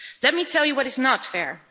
Let me tell you what is not fair.